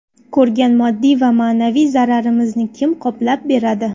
Ko‘rgan moddiy va ma’naviy zararimizni kim qoplab beradi?